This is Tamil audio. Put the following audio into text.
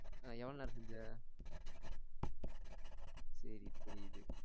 எவ்வளவு நேரம் செஞ்ச ச்சேரி புரியுது